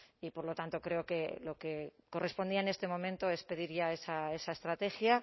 y por lo tanto creo que lo que correspondía en este momento es pedir ya esa estrategia